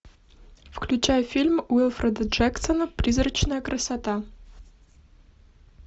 включай фильм уилфреда джексона призрачная красота